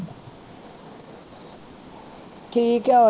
ਠੀਕ ਆ